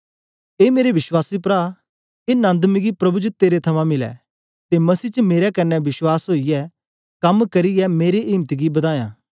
ए मेरे विश्वासी प्रा ए नन्द मिगी प्रभु च तेरे थमां मिलै ते मसीह च मेरे कन्ने विश्वास ओईयै कम करियै मेरे इम्त गी बदायाँ